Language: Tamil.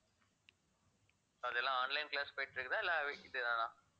அதெல்லாம் online class போயிட்டு இருக்குதா இல்லை இதுதானா